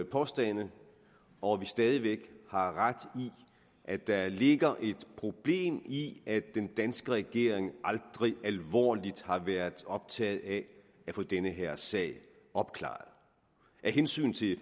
påstande og at vi stadig væk har ret i at der ligger et problem i at den danske regering aldrig alvorligt har været optaget af at få den her sag opklaret af hensyn til